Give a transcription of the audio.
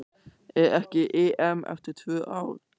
Er ekki EM eftir tvö ár?